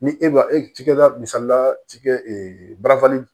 Ni e ma e tikɛda misalila ci kɛ barafan